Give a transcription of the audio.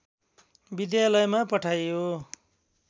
विद्यालयमा पठाइयो